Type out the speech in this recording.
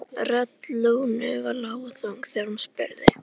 Rödd Lúnu var lág og þung þegar hún spurði